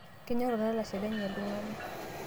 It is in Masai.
kenyor olalashe lenye iltungana